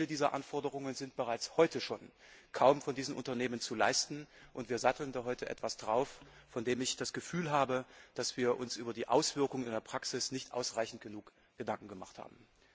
Viele dieser Anforderungen sind bereits heute schon von diesen Unternehmen kaum zu erfüllen, und wir satteln da heute etwas drauf, von dem ich das Gefühl habe, dass wir uns über die Auswirkungen in der Praxis nicht ausreichend Gedanken gemacht haben.